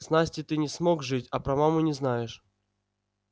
с настей ты не смог жить а про маму не знаешь